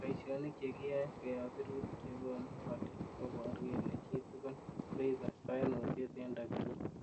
Boishionik che kiyoe koyob sirutik chekonu olik, koboru kele chitugul koibe koimutyet en tokyin.